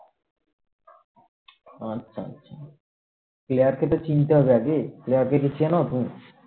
আচ্ছা আচ্ছা player কে তো চিনতে হবে আগে player কে কি চেনো তুমি?